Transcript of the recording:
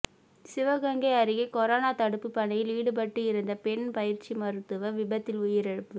சிவகங்கை அருகே கொரோனா தடுப்பு பணியில் ஈடுபட்டு இருந்த பெண் பயிற்சி மருத்துவர் விபத்தில் உயிரிழப்பு